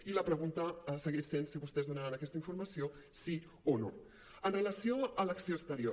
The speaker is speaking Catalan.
i la pregunta segueix sent si vostès donaran aquesta informació sí o no amb relació a l’acció exterior